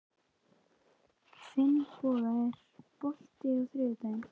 Finnboga, er bolti á þriðjudaginn?